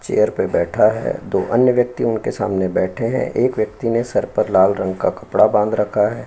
Chair पे बैठा है। दो अन्य व्यक्ति उनके सामने बैठे हैं। एक व्यक्ति ने सर पर लाल रंग का कपड़ा बांध रखा है।